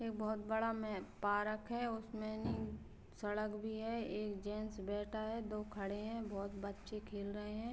एक बहुत बड़ा मे पार्क है। उसमे निम् सड़क भी है। एक जेन्स बैठा है दो खड़े हैं। बहुत बच्चे खेल रहे हैं।